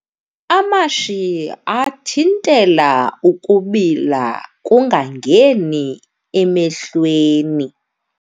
Amashiyi athintela ukubila kungangeni emehlweni.